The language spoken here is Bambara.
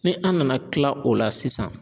Ni an nana tila o la sisan